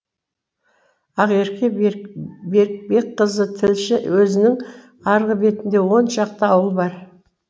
ақерке берікбекқызы тілші өзеннің арғы бетінде он шақты ауыл бар